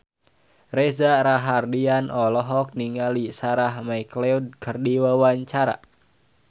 Reza Rahardian olohok ningali Sarah McLeod keur diwawancara